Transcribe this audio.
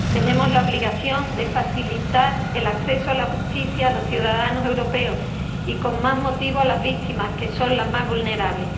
Tenemos la obligación de facilitar el acceso a la justicia a los ciudadanos europeos y, con más motivo, a las víctimas, que son las más vulnerables.